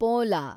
ಪೋಲಾ